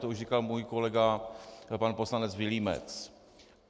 To už říkal můj kolega pan poslanec Vilímec.